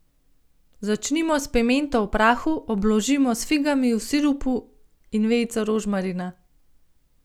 Začinimo s pimento v prahu, obložimo s figami v sirupu in vejico rožmarina.